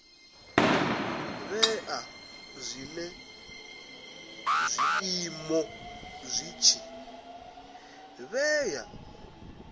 vhea zwinwe zwiiimo zwi tshi